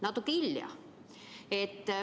Natuke hilja.